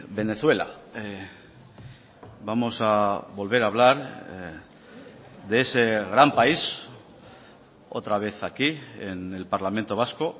venezuela vamos a volver a hablar de ese gran país otra vez aquí en el parlamento vasco